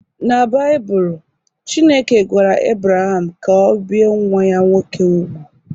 Na Baịbụl, Chineke gwara Ebraham ka ọ bie nwa ya nwoke úgwù